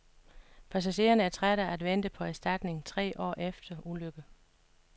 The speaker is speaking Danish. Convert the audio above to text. Passagererne er trætte af at vente på erstatning tre år efter ulykke.